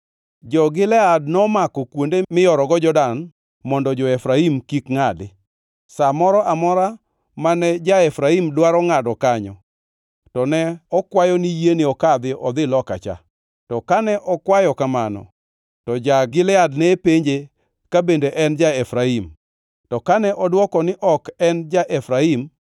Jo-Gilead nomako kuonde miyorogo Jordan mondo jo-Efraim kik ngʼadi. Sa moro amora mane ja-Efraim dwaro ngʼado kanyo to ne okwayo ni yiene okadhi odhi loka cha. To kane okwayo kamano; to ja-Gilead ne penje ka bende en ja-Efraim. To kane odwoko ni ok en ja-Efraim,